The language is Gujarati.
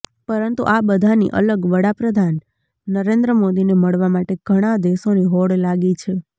પરંતુ આ બધાની અલગ વડાપ્રધાન નરેન્દ્ર મોદીને મળવા માટે ઘણા દેશોની હોડ લાગી છે